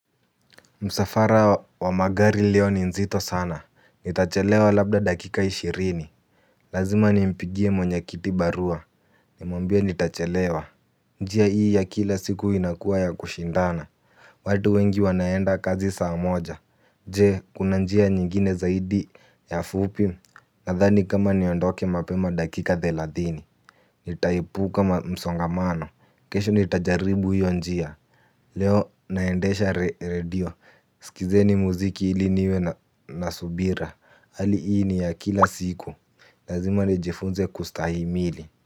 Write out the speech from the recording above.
Msafara wa magari leo ni nzito sana, nitachelewa labda dakika ishirini. Lazima ni nimpigie mwenye kiti barua. Nimwambie nitachelewa. Njia hii ya kila siku inakua ya kushindana. Watu wengi wanaenda kazi saa moja. Je, kuna njia nyingine zaidi ya fupi. Nadhani kama niondoke mapema dakika thelathini. Nitaepuka msongamano. Kesho nitajaribu hiyo njia. Leo naendesha redio. Sikizeni muziki ili niwe nasubira. Hali hii ni ya kila siku. Lazima nijifunze kustahimili.